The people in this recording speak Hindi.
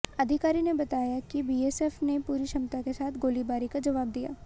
अधिकारी ने बताया कि बीएसएफ ने पूरी क्षमता के साथ गोलीबारी का जवाब दिया